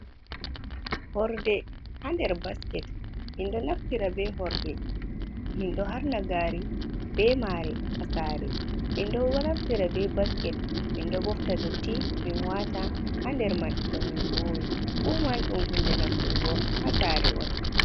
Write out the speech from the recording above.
Hoorde ha nder baasket. Menɗon naftiira be hoorde menɗo haarna gaari be maare ha Saare .Menɗoo naftiira be basket menɗoo ɓooftaa dotti men waata ha nderman tomwwn vuuwi. Fuuman ɗum huunde naftireego ha Saare'on.